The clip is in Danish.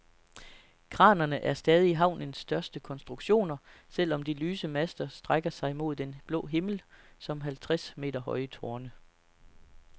Kranerne er stadig havnens største konstruktioner, selv om de lyse master strækker sig mod den blå himmel som halvtreds meter høje tårne.